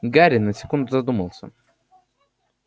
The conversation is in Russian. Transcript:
гарри на секунду задумался